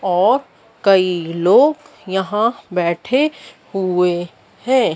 और कई लोग यहां बैठे हुए हैं।